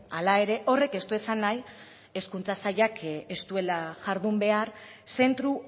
hala ere horrek ez du esan nahi hezkuntza sailak ez duela jardun behar zentro